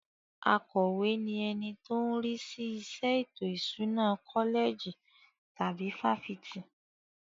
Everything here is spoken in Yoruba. Akọ̀we ni ẹni tó ń rí sí iṣẹ́ ètò ìṣúná kọ́lẹ̀jì tàbí fáfitì.